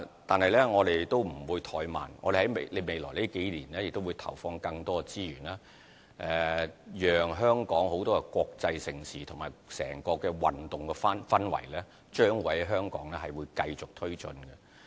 但是，我們不會怠慢，我們在未來數年會投放更多資源，讓香港的國際盛事及整個運動氛圍繼續推進。